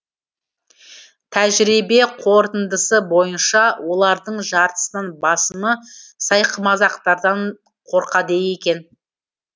тәжірибе қорытындысы бойынша олардың жартысынан басымы сайқымазақтардан қорқады екен